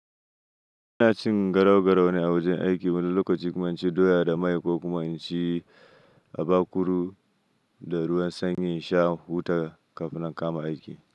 Ina cin garau-garau ne a wajen aiki wani lokaci kuma inci doya da mai ko kuma inci abakuru da ruwan sanyi in sha in huta kafin nan in kama aiki.